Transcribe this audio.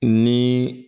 Ni